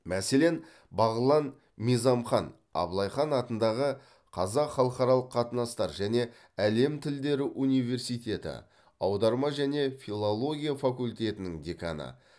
мәселен бағлан мизамхан абылай хан атындағы қазақ халықаралық қатынастар және әлем тілдері университеті аударма және филология факультетінің деканы